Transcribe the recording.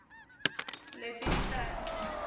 letinhlanti